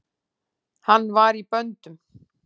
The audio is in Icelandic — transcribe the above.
Hann var í böndum.